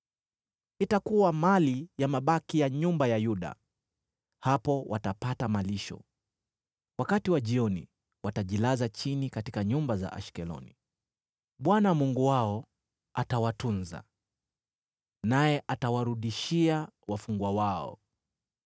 Itakuwa mali ya mabaki ya nyumba ya Yuda, hapo watapata malisho. Wakati wa jioni watajilaza chini katika nyumba za Ashkeloni. Bwana Mungu wao atawatunza, naye atawarudishia wafungwa wao.